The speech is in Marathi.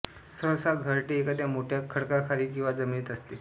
सहसा घरटे एखाद्या मोठ्या खडकाखाली किंवा जमिनीत असते